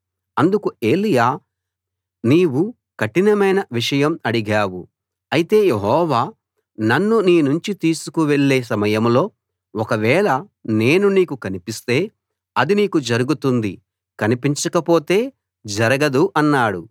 అందుకు ఏలీయా నీవు కఠినమైన విషయం అడిగావు అయితే యెహోవా నన్ను నీ నుంచి తీసుకు వెళ్ళే సమయంలో ఒకవేళ నేను నీకు కనిపిస్తే అది నీకు జరుగుతుంది కనిపించకపోతే జరగదు అన్నాడు